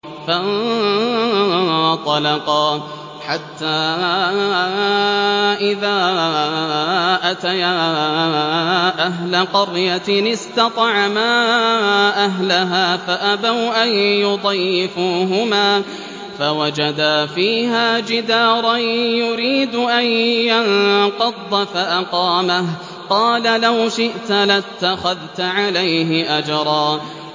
فَانطَلَقَا حَتَّىٰ إِذَا أَتَيَا أَهْلَ قَرْيَةٍ اسْتَطْعَمَا أَهْلَهَا فَأَبَوْا أَن يُضَيِّفُوهُمَا فَوَجَدَا فِيهَا جِدَارًا يُرِيدُ أَن يَنقَضَّ فَأَقَامَهُ ۖ قَالَ لَوْ شِئْتَ لَاتَّخَذْتَ عَلَيْهِ أَجْرًا